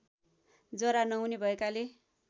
जरा नहुने भएकाले